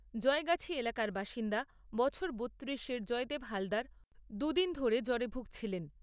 জয়গাছি এলাকার বাসিন্দা বছর বত্তিরিশের জয়দেব হালদার দুই দিন ধরে জ্বরে ভুগছিলেন।